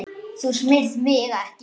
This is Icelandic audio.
Þú smyrð mig ekki.